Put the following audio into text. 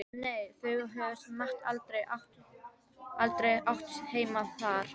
En nei, þau höfðu samt aldrei átt heima þar.